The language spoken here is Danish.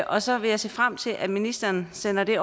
og så vil jeg se frem til at ministeren sender det